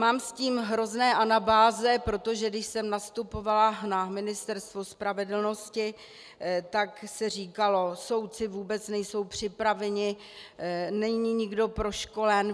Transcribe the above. Mám s tím hrozné anabáze, protože když jsem nastupovala na Ministerstvo spravedlnosti, tak se říkalo: Soudci vůbec nejsou připraveni, není nikdo proškolen.